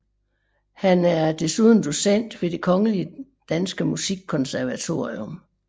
Han er desuden docent ved Det Kongelige Danske Musikkonservatorium